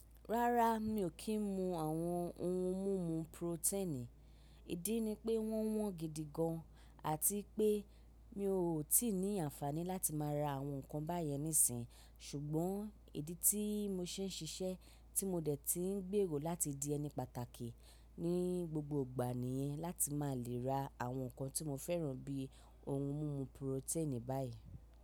Rárá mi ò kí ń mu àwọn ohun mímu purotẹ́ẹ̀nì, ìdí ni pé wọ́n wọ́n gidi gan, àti pé mi ò tí ì ní àǹfaàní láti má ra àwọn nǹkan báyẹn nísìnyí. Ṣùgbọ́n ìdí tí mo se ń ṣiṣẹ́ tí mo dẹ̀ ti ń gbèrò láti di ẹni pàtàkì ní gbogbo ìgbà nìyẹn láti má lè ra àwọn nǹkan tí mo fẹ́ràn bí i ohun mímu purotẹ́ẹ̀nì báyìí.